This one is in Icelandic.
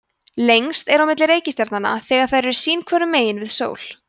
lengst er á milli reikistjarnanna þegar þær eru sín hvoru megin við sól